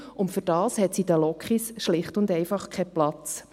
Dafür hat es in den Lokomotiven schlicht und einfach keinen Platz.